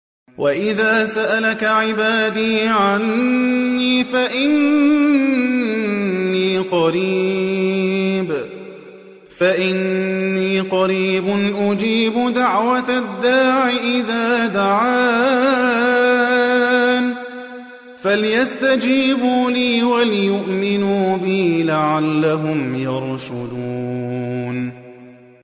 وَإِذَا سَأَلَكَ عِبَادِي عَنِّي فَإِنِّي قَرِيبٌ ۖ أُجِيبُ دَعْوَةَ الدَّاعِ إِذَا دَعَانِ ۖ فَلْيَسْتَجِيبُوا لِي وَلْيُؤْمِنُوا بِي لَعَلَّهُمْ يَرْشُدُونَ